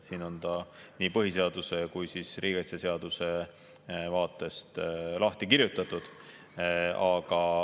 Siin on ta nii põhiseaduse kui riigikaitseseaduse vaatest lahti kirjutatud.